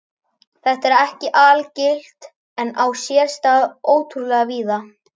Þetta er ekki algilt en á sér stað ótrúlega víða.